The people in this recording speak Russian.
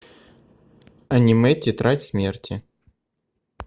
аниме тетрадь смерти